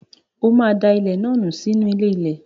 O máa da ilẹ̀ náà nù sínú ilé-ilẹ̀.